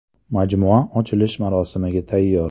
Majmua ochilish marosimiga tayyor.